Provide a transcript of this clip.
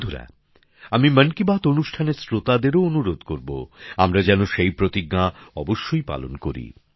বন্ধুরা আমি মনকীবাত অনুষ্ঠানের শ্রোতাদেরও অনুরোধ করবো আমরা যেন সেই প্রতিজ্ঞা অবশ্যই পালন করি